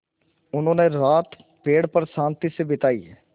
उन्होंने रात पेड़ पर शान्ति से बिताई